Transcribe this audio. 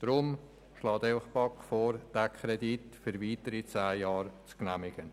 Deshalb schlägt Ihnen die BaK vor, diesen Kredit für weitere zehn Jahre zu genehmigen.